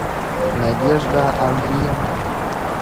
надежда андриенко